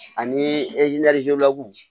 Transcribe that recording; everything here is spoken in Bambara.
Ani